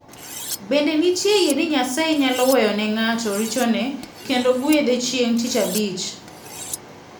Bende nitie yie ni Nyasaye nyalo weyo ne ng'ato richone kendo gwedhe chieng' Tich Abich.